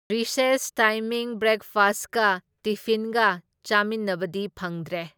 Recess timing ꯕ꯭ꯔꯦꯛꯐꯁꯠꯀ ꯇꯤꯐꯤꯟꯒ ꯆꯥꯃꯤꯟꯅꯕꯗꯤ ꯐꯪꯗ꯭ꯔꯦ꯫